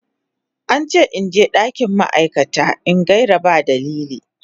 An ce in je dakin ma'aikata in gaira ba dalili.